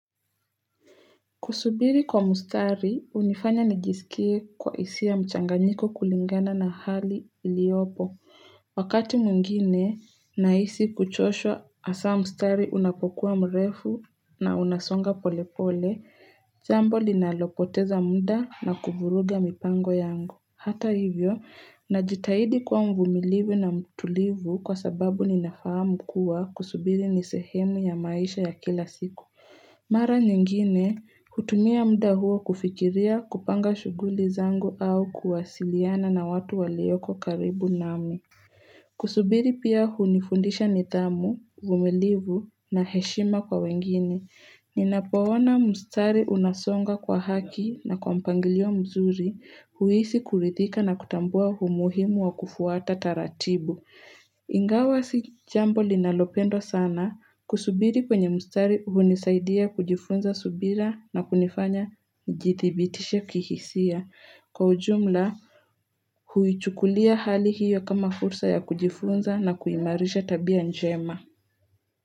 Kusubiri kwa mustari, hunifanya nijisikie kwa hisia mchanganyiko kulingana na hali iliopo. Wakati mwingine, nahisi kuchoshwa hasa mustari unapokuwa mrefu na unasonga polepole, jambo linalopoteza muda na kuvuruga mipango yangu. Hata hivyo, najitahidi kuwa mvumilivu na mtulivu kwa sababu ninafahamu kuwa kusubiri ni sehemu ya maisha ya kila siku. Mara nyingine, hutumia muda huo kufikiria kupanga shughuli zangu au kuwasiliana na watu walioko karibu nami. Kusubiri pia hunifundisha nidhamu, uvumilivu na heshima kwa wengine. Ninapo ona mstari unasonga kwa haki na kwa mpangilio mzuri huhisi kuridhika na kutambua umuhimu wa kufuata taratibu. Ingawa si jambo linalopendwa sana kusubiri kwenye mstari hunisaidia kujifunza subira na kunifanya nijithibitishe kihisia. Kwa ujumla huichukulia hali hiyo kama fursa ya kujifunza na kuimarisha tabia njema.